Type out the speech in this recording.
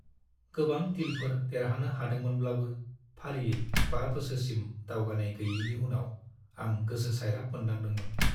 गोबां डीलफोर देरहानो हादोंमोनब्लाबो फारियै बा बोसोरसिम दावगानाय गैयैनि उनाव आं गोसो सायराब मोनदांदोंमोन।